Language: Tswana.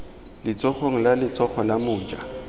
letsogong la letsogo la moja